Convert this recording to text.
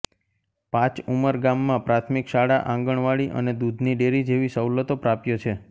પાચઉમર ગામમાં પ્રાથમિક શાળા આંગણવાડી અને દૂધની ડેરી જેવી સવલતો પ્રાપ્ય છે